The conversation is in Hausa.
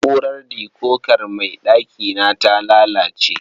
Na'urar dikokar mai ɗakina ta lalace.